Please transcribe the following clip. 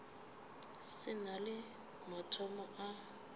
se na le mathomo a